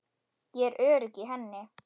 Ég er örugg í henni.